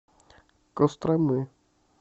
костромы